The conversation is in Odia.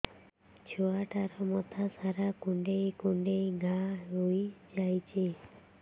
ଛୁଆଟାର ମଥା ସାରା କୁଂଡେଇ କୁଂଡେଇ ଘାଆ ହୋଇ ଯାଇଛି